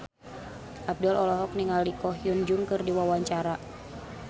Abdel olohok ningali Ko Hyun Jung keur diwawancara